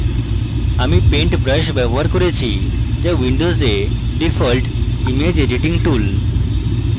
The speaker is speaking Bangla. আমি paint brush ব্যবহার করেছি যা windows a default image editing tool